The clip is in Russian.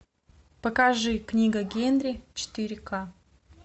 покажи книга генри четыре к